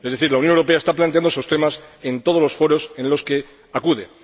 Es decir, la Unión Europea está planteando esos temas en todos los foros a los que acude.